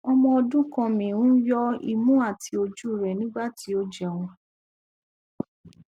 ọmọ ọdun kan mi n yọ imu ati oju rẹ nigbati o jẹun